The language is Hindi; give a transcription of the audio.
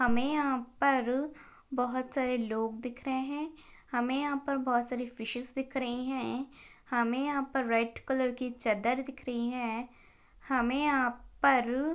हमें यहा पर बहुत सारे लोग दिख रहे है। हमे यहा पर बहुत सारी फिशेस दिख रही है। हमे यहा पर रेड कलर की चादर दिख रही है। हमे यहा पर--